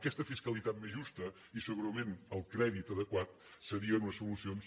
aquesta fiscalitat més justa i segurament el crèdit adequat serien unes solucions